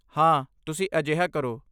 ਹਾਂ, ਤੁਸੀਂ ਅਜਿਹਾ ਕਰੋ।